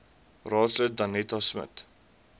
raadslid danetta smit